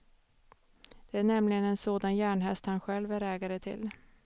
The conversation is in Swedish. Det är nämligen en sådan järnhäst han själv är ägare till.